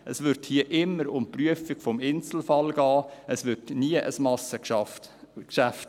Es ginge hier immer um die Prüfung des Einzelfalles, es würde nie zu einem Massengeschäft.